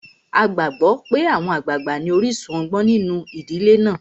A gbàgbó pé àwọn àgbàgbà ní orísun ọgbọ́n nínu ìdílé náà.